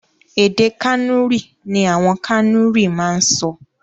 Èdè Kànúrì ní àwọn Kànúrì máa ń sọ.